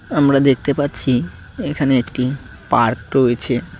আমরা দেখতে পাচ্ছি এখানে একটি পার্ক রয়েছে।